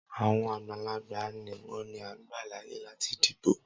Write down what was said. Awọn agbalagba nikan ni a gba laaye lati dibo.